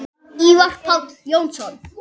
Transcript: Ívar Páll Jónsson